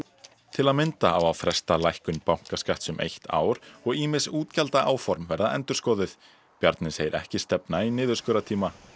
til að mynda á að fresta lækkun bankaskatts um eitt ár og ýmis útgjaldaáform verða endurskoðuð Bjarni segir ekki stefna í niðurskurðartíma